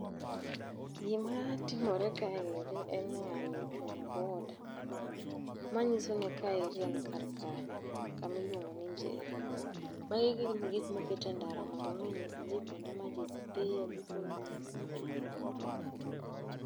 Gima timore kaeri en ni ng'ani ochung' e boarder. Manyiso ni kaeri en kar kanye. Kamiluongo ni Njeri. Magi gin gik moketi endara mondo onyis ji kuonde maji dhiye gi kuonde magise chope.